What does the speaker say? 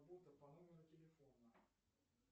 по номеру телефона